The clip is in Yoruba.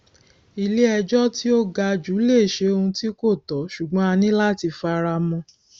ilé ejò tí ó ga jù lè ṣe òun tí kò tó ṣùgbọn a ní láti fara mọ